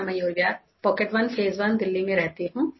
मैं Mayur Vihar pocket one phase one Delhi में रहती हूँ